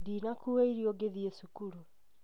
Ndinakua irio ngĩthiĩ cukuru